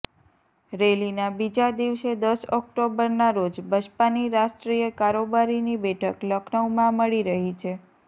રેલીના બીજા દિવસે દસ ઑક્ટોબરના રોજ બસપાની રાષ્ટ્રીય કારોબારીની બેઠક લખનઉમાં મળી રહી છે